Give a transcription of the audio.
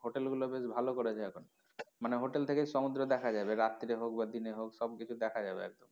Hotel গুলো বেশ ভালো করেছে এখন মানে hotel থেকে সমুদ্র দেখা যাবে রাত্রে হোক বা দিনে হোক সব কিছু দেখা যাবে একদম।